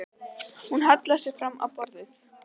Hún hallaði sér fram á borðið.